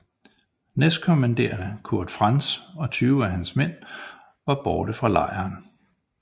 Næstkommanderende Kurt Franz og tyve af hans mænd var borte fra lejren